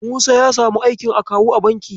Musa ya samu aikin akawu a banki.